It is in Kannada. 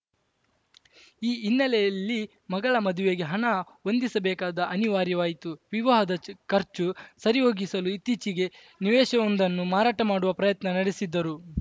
ಈ ಹಿನ್ನೆಲೆಯಲ್ಲಿ ಮಗಳ ಮದುವೆಗೆ ಹಣ ಹೊಂದಿಸಬೇಕಾದ ಅನಿವಾರ್ಯವಾಯಿತು ವಿವಾಹದ ಖರ್ಚು ಸರಿಹೊಗಿಸಲು ಇತ್ತೀಚೆಗೆ ನಿವೇಶವೊಂದನ್ನು ಮಾರಾಟ ಮಾಡುವ ಪ್ರಯತ್ನ ನಡೆಸಿದ್ದರು